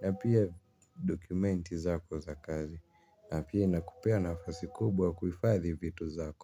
na pia document zako za kazi na pia inakupea nafasi kubwa ya kuhifadhi vitu zako.